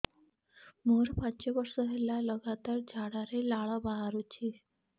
ମୋରୋ ପାଞ୍ଚ ବର୍ଷ ହେଲା ଲଗାତାର ଝାଡ଼ାରେ ଲାଳ ବାହାରୁଚି